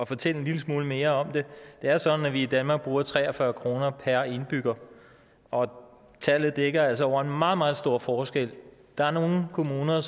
fortælle en lille smule mere om det det er sådan at vi i danmark bruger tre og fyrre kroner per indbygger og tallet dækker altså over en meget meget stor forskel der er nogle kommuner